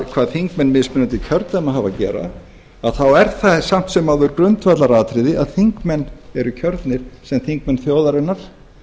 hvað þingmenn mismunandi kjördæma hafa að gera þá er það samt sem áður grundvallaratriði að þingmenn eru kjörnir sem þingmenn þjóðarinnar